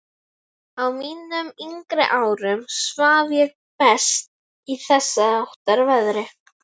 Á mínum yngri árum svaf ég best í þessháttar veðri.